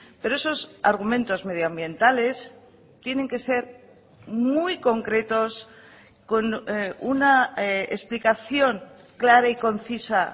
pero esos argumentos medioambientales tienen que ser muy concretos con una explicación clara y concisa